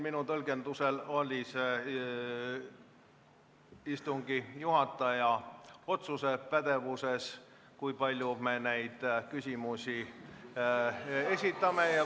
Minu tõlgenduse kohaselt oli istungi juhataja pädevuses otsustada, kui palju me küsimusi esitame.